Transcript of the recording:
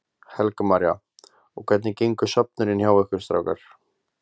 Helga María: Og hvernig gengur söfnunin hjá ykkur strákar?